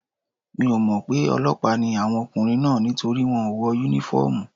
Mi ò mọ̀ pé ọlọ́pàá ni àwọn ọkùnrin náà nítorí wọ́n ò wọ Únífọ́ọ̀mù